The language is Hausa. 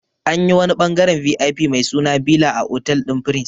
Anyi wani ɓangaren VIP mai suna bila a otal ɗin prince